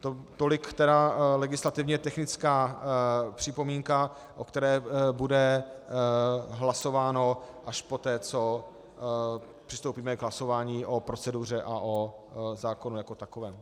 Tolik tedy legislativně technická připomínka, o které bude hlasováno až poté, co přistoupíme k hlasování o proceduře a o zákonu jako takovém.